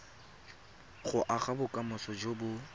go aga bokamoso jo bo